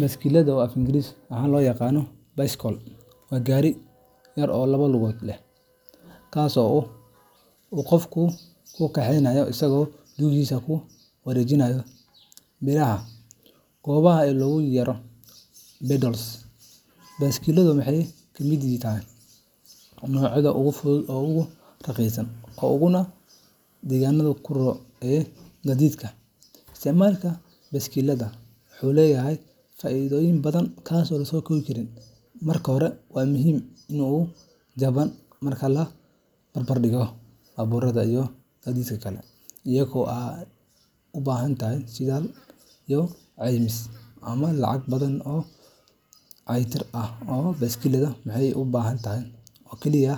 Baskilada, oo af Ingiriisi ahaan loo yaqaan bicycle, waa gaari yar oo laba lugood leh, kaas oo uu qofku ku kaxeeyo isagoo lugihiisa ku wareejinaya biraha goobaaban ee loogu yeero pedals. Baaskiiladu waxay ka mid tahay noocyada ugu fudud, ugu raqiisan, uguna deegaanka u roon ee gaadiidka. Isticmaalka baaskiilada wuxuu leeyahay faa’iidooyin badan. Marka hore, waa mid aad u jaban marka la barbardhigo baabuurta iyo gaadiidka kale, iyadoo aan u baahnayn shidaal, caymis, ama lacag badan oo dayactir ah. Baaskiiladu waxay u baahan tahay oo keliya